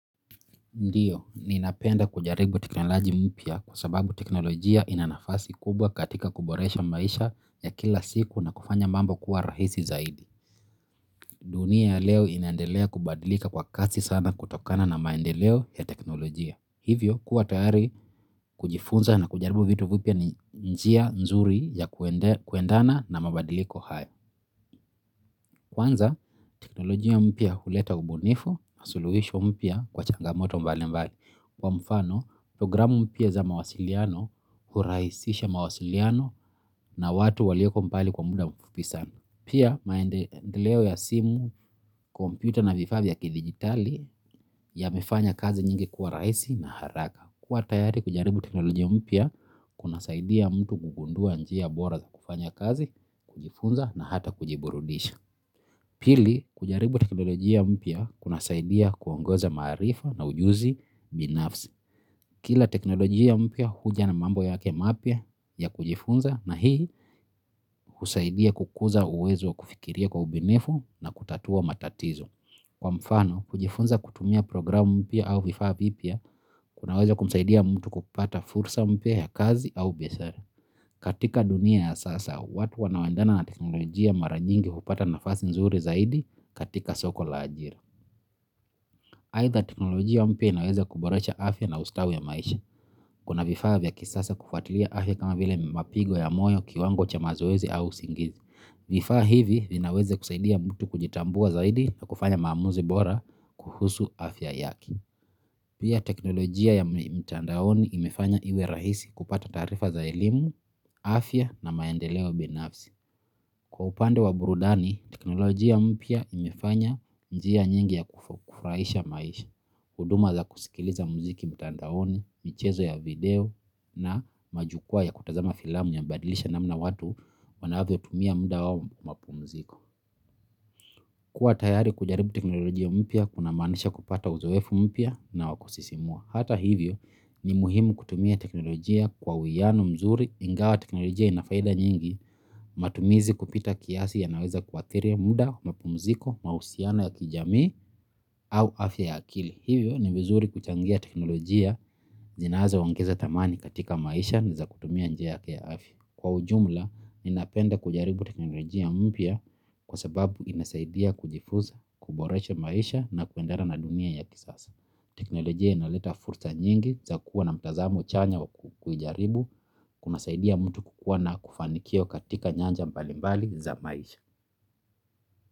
Ndiyo, ninapenda kujaribu teknoloji mpya kwa sababu teknolojia inanafasi kubwa katika kuboresha maisha ya kila siku na kufanya mambo kuwa rahisi zaidi. Dunia ya leo inaendelea kubadilika kwa kasi sana kutokana na maendeleo ya teknolojia. Hivyo, kuwa tayari kujifunza na kujaribu vitu vipya ni njia nzuri ya kuendana na mabadiliko haya. Kwanza, teknolojia mpya huleta ubunifu, suluhisho mpya kwa changamoto mbalimbali. Kwa mfano programu mpya za mawasiliano huraisisha mawasiliano na watu walioko mbali kwa muda mfupi sana. Pia maendeleo ya simu, computer na vifaa vya kidigitali yamefanya kazi nyingi kuwa raisi na haraka. Kuwa tayari kujaribu teknolojia mpya kunasaidia mtu kugundua njia bora za kufanya kazi, kujifunza na hata kujiburudisha. Pili, kujaribu teknolojia mpya kuna saidia kuongoza maarifa na ujuzi binafsi. Kila teknolojia mpya huja na mambo yake mapya ya kujifunza na hii husaidia kukuza uwezo wa kufikiria kwa ubinifu na kutatua matatizo. Kwa mfano, kujifunza kutumia programu mpya au vifaa vipya, kunaweza kumsaidia mtu kupata fursa mpya ya kazi au biashara. Katika dunia ya sasa, watu wanawendana na teknolojia maranyingi hupata nafasi nzuri zaidi katika soko la ajira. Aitha teknolojia mpya inaweza kuboresha afya na ustawi wa maisha. Kuna vifaa vya kisasa kufatilia afya kama vile mapigo ya moyo kiwango cha mazoezi au singizi. Vifaa hivi vinaweza kusaidia mtu kujitambua zaidi na kufanya maamuzi bora kuhusu afya yake. Pia teknolojia ya mtandaoni imefanya iwe rahisi kupata taarifa za elimu, afya na maendeleo binafsi. Kwa upande wa burudani, teknolojia mpya imefanya njia nyingi ya kufraisha maisha, kuduma za kusikiliza muziki mitandaoni, michezo ya video na majukwa ya kutazama filamu yamebadilisha namna watu wanavyo tumia muda wao mapumuziko. Kuwa tayari kujaribu teknolojia mpya, kuna manisha kupata uzoefu mpya na wa kusisimua. Hata hivyo ni muhimu kutumia teknolojia kwa uiano mzuri ingawa teknolojia ina faida nyingi matumizi kupita kiasi yanaweza kuathiri muda, mapumziko, mausiano ya kijamii au afya ya akili. Hivyo ni vizuri kuchangia teknolojia zinazo ongeza thamani katika maisha na za kutumia njia yake ya afya. Kwa ujumla, ninapenda kujaribu teknolojia mpya kwa sababu inasaidia kujifuza, kuboresha maisha na kuendana na dunia ya kisasa. Teknolojia inaleta fursa nyingi za kuwa na mtazamo chanya wa kuijaribu, kuna saidia mtu kukuwa na kufanikio katika nyanja mbalimbali za maisha.